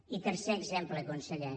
i tercer exemple conseller